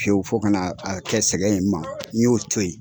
Fiyewu fo k'a na kɛ sɛgɛn ye n ma n y'o toyi.